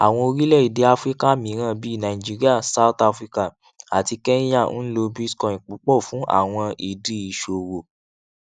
áwọn orilẹède áfíríkà mìíràn bí nàìjíríà south africa àti kenya n lo bitcoin púpọ fún àwọn ìdí ìṣòwò